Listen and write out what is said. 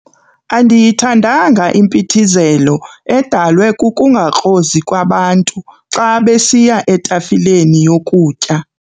Andiyithandanga impithizelo edalwe kukungakrozi kwabantu xa besiya etafileni yokutya.